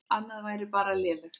Annað væri bara lélegt.